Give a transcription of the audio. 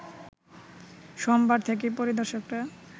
সোমবার থেকেই পরিদর্শকরা